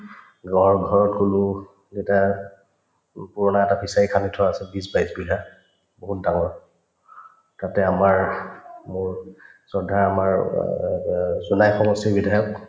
ঘৰত কলো দেউতাক মোৰ পুৰণা এটা fishery খান্দি থোৱা আছে বিশ-বাইছ বিঘা বহুত ডাঙৰ তাতে আমাৰ মোৰ শ্ৰদ্ধাৰ আমাৰ অ জোনাই সমষ্টিৰ বিধায়ক